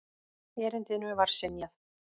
Erindinu var synjað.